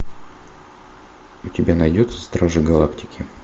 у тебя найдется стражи галактики